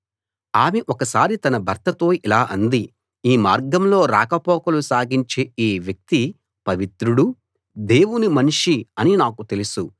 ఆమె ఒకసారి తన భర్తతో ఇలా అంది ఈ మార్గంలో రాకపోకలు సాగించే ఈ వ్యక్తి పవిత్రుడూ దేవుని మనిషీ అని నాకు తెలుసు